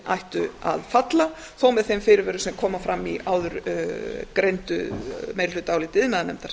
ættu að falla þó með þeim fyrirvörum sem koma fram í áðurgreindu meirihlutaáliti iðnaðarnefndar